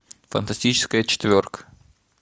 фантастическая четверка